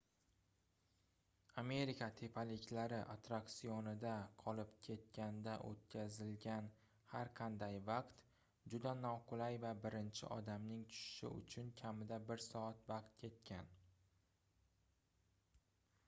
amerika tepaliklari atrraksionida qolib ketganda oʻtkazilgan har qanday vaqt juda noqulay va birinchi odamning tushishi uchun kamida bir soat vaqt ketgan